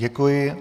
Děkuji.